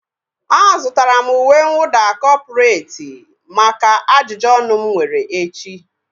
A zụtara m uwe mwụda kọpụreti maka ajụjụ ọnụ mụ nwere echi